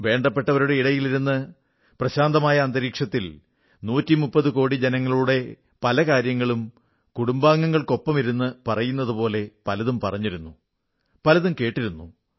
വേണ്ടപ്പെട്ടവരുടെ ഇടയിലിരുന്ന് പ്രശാന്തമായ അന്തരീക്ഷത്തിൽ 130 കോടി ജനങ്ങളുടെ പല കാര്യങ്ങളും കുടുംബാംഗങ്ങൾക്കൊപ്പമിരുന്നു പറയുന്നതുപോലെ പലതും പറഞ്ഞിരുന്നു പലതും കേട്ടിരുന്നു